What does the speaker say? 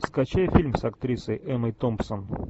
скачай фильм с актрисой эммой томпсон